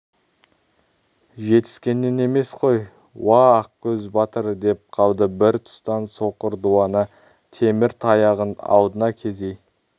жетіскенінен емес қой уа ақкөз батыр деп қалды бір тұстан соқыр дуана темір таяғын алдына кезей